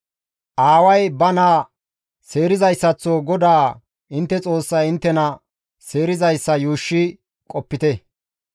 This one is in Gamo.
Aaway ba naa seerizayssaththo GODAA intte Xoossay inttena seerizayssa yuushshi qopite.